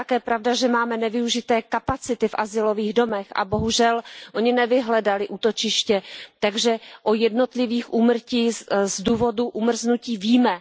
Ale je také pravda, že máme nevyužité kapacity v azylových domech, a bohužel oni nevyhledali útočiště, takže o jednotlivých úmrtích z důvodů umrznutí víme.